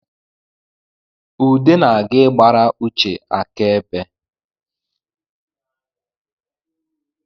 Ude na-aga ịgbara Uche aka ebe